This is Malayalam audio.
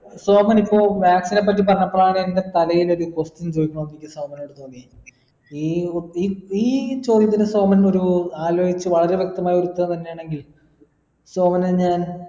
സോമനിപ്പോ vaccine നെ പറ്റി പറഞ്ഞപ്പോളാണ് എൻ്റെ തലയിലൊരു question ചോദിക്കണോന്ന് എനിക്ക് സോമനോട് തോന്നി ഈ ഈ ചോദ്യത്തിന് സോമൻ ഒരു ആലോയ്ച് വളരെ വ്യക്തമായൊരുത്തരം തന്നെയാണെങ്കിൽ സോമന് ഞാൻ